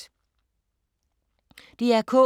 DR K